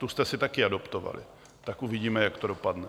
Tu jste si také adoptovali, tak uvidíme, jak to dopadne.